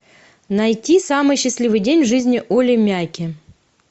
найти самый счастливый день в жизни олли мяки